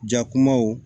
Jakumaw